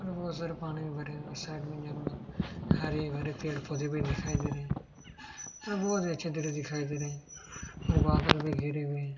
और बहुत सारे पानी भी बारे हुए है साइड मे जंगल हरे भरे पेड़ पौधे भी दिखाई दे रहे है बहुत अच्छा दृश्य दिखाई दे रहे हैं और बदल भी घेरे हुए है।